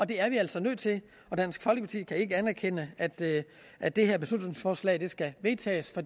det er vi altså nødt til og dansk folkeparti kan ikke anerkende at det at det her beslutningsforslag skal vedtages